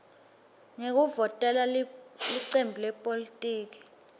ngekuvotela licembu lepolitiki